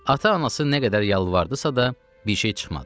Ata-anası nə qədər yalvardısa da, bir şey çıxmadı.